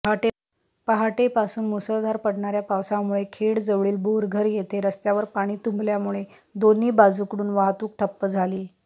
पहाटेपासून मुसळधार पडणाऱ्या पावसामुळे खेडजवळील बोरघर येथे रस्त्यावर पाणी तुंबल्यामुळे दोन्ही बाजूकडून वाहतूक ठप्प झाली